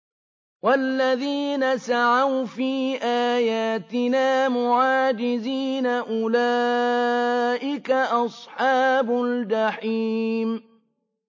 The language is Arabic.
وَالَّذِينَ سَعَوْا فِي آيَاتِنَا مُعَاجِزِينَ أُولَٰئِكَ أَصْحَابُ الْجَحِيمِ